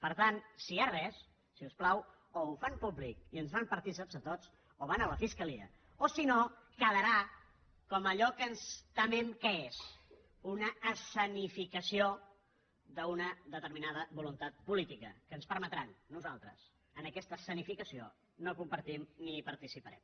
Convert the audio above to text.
per tant si hi ha res si us plau o ho fan públic i ens en fan partícips tots o van a la fiscalia o si no quedarà com allò que ens temem que és una escenificació d’una determinada voluntat política que ens ho permetran nosaltres aquesta escenificació ni la compartim ni hi participarem